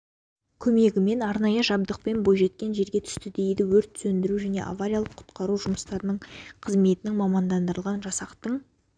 көмегімен арнайы жабдықпен бойжеткен жерге түсті дейді өрт сөндіру және авариялық-құтқару жұмыстары қызметінің мамандандырылған жасақтың